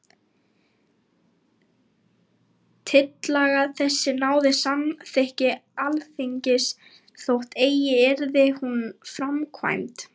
Tillaga þessi náði samþykki Alþingis, þótt eigi yrði hún framkvæmd.